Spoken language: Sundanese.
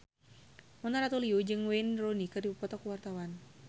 Mona Ratuliu jeung Wayne Rooney keur dipoto ku wartawan